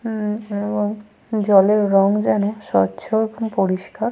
উম এবং জলের রঙ যেন স্বচ্ছ এবং পরিস্কার।